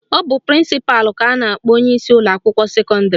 Ọ bụ prịnsịpalụ ka a na-akpọ onyeisi ụlọakwụkwọ sekọndịrị